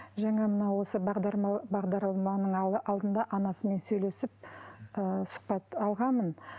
жаңа мынау осы бағдарламаның алдында анасымен сөйлесіп ы сұхбат алғанмын